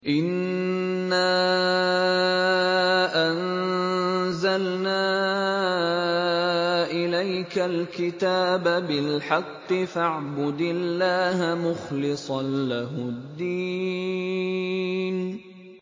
إِنَّا أَنزَلْنَا إِلَيْكَ الْكِتَابَ بِالْحَقِّ فَاعْبُدِ اللَّهَ مُخْلِصًا لَّهُ الدِّينَ